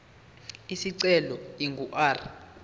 isicelo ingu r